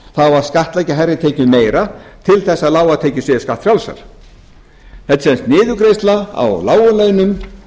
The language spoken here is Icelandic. það á að skattleggja hærri tekjur meira til að lágar tekjur séu skattfrjálsar þetta er sem sagt niðurgreiðsla á lágum launum